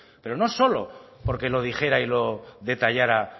pero no solo porque lo dijera y lo detallara